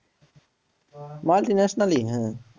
Multinational ই হ্যাঁ।